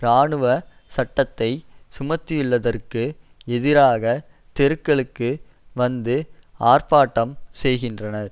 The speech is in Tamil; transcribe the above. இராணுவ சட்டத்தை சுமத்தியுள்ளதற்கு எதிராக தெருக்களுக்கு வந்து ஆர்ப்பாட்டம் செய்கின்றனர்